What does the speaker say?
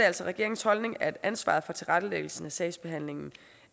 altså regeringens holdning at ansvaret for tilrettelæggelsen af sagsbehandlingen